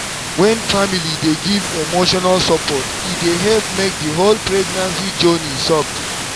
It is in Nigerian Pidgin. wen family dey give emotional support e dey help make the whole pregnancy journey soft.